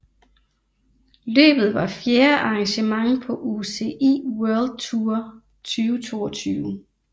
Løbet var fjerde arrangement på UCI World Tour 2022